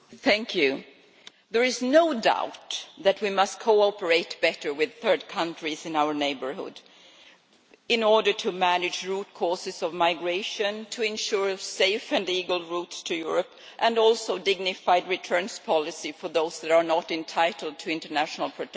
Madam President, there is no doubt that we must cooperate better with third countries in our neighbourhood in order to manage the root causes of migration, to ensure safe and legal routes to Europe as well as a dignified returns policy for those that are not entitled to international protection.